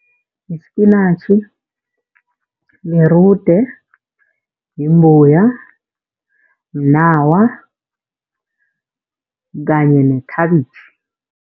Yispinatjhi nerude, yimbuya, mnawa kanye nekhabitjhi.